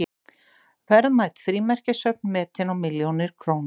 Verðmæt frímerkjasöfn metin á milljónir króna